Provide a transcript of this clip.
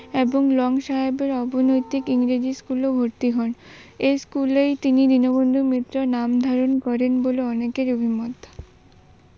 এবং লং সাহেবের অবৈতনিক ইংরেজি School ভরতি হন। এ স্কুলেই তিনি দীনবন্ধু নাম ধারণ করেন বলে অনেকের অভিমত